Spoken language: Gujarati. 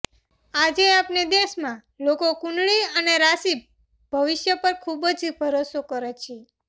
આજે આપને દેશમાં લોકો કુંડળી અને રાશિ ભવિષ્ય પર ખુબ જ ભરોસો કરે છે